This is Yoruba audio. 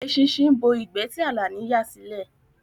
Eṣinṣin bo ìgbẹ́ ti Àlàní yà sílẹ̀